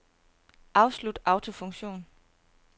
Afslut autofunktion.